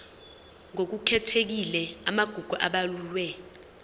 ngokukhethekile amagugu abalulwe